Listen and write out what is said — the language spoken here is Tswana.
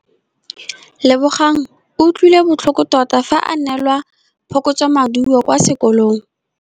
Lebogang o utlwile botlhoko tota fa a neelwa phokotsômaduô kwa sekolong.